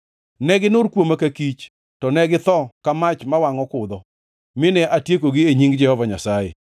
Ne ginur kuoma ka kich, to ne githo ka mach ma wangʼo kudho; mine atiekogi e nying Jehova Nyasaye.